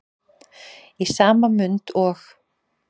Í sama mund og